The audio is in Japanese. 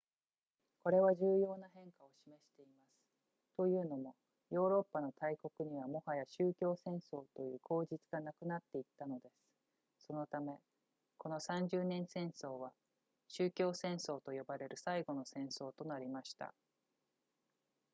これは重要な変化を示していますというのもヨーロッパの大国にはもはや宗教戦争という口実がなくなっていったのですそのためこの三十年戦争は宗教戦争と呼ばれる最後の戦争となりました